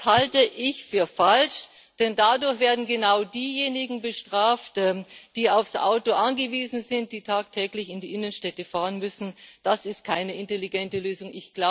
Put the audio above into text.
Das halte ich für falsch, denn dadurch werden genau diejenigen bestraft, die aufs Auto angewiesen sind, die tagtäglich in die Innenstädte fahren müssen das ist keine intelligente Lösung.